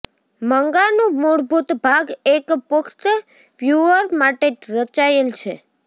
મંગાનું મૂળભૂત ભાગ એક પુખ્ત વ્યૂઅર માટે રચાયેલ છે